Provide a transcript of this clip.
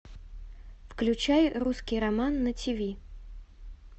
включай русский роман на тв